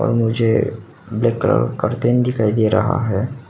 और मुझे black colour का कर्टेन दिखाई दे रहा है।